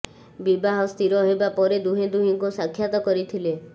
ବିବାହ ସ୍ଥିର ହେବା ପରେ ଦୁହେଁ ଦୁହିଁଙ୍କୁ ସାକ୍ଷାତ କରିଥିଲେ